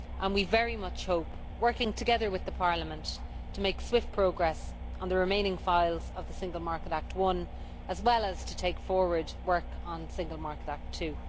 We very much hope, working together with Parliament, to make swift progress on the remaining files of the Single Market Act I, as well as to take forward work on the Single Market Act II.